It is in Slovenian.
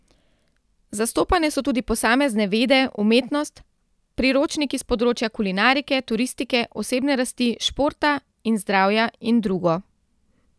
Zastopane so tudi posamezne vede, umetnost, priročniki s področja kulinarike, turistike, osebne rasti, športa in zdravja in drugo.